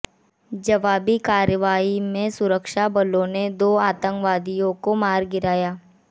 जवाबी कार्रवाई में सुरक्षाबलों ने दो आतंकवादियों को मार गिराया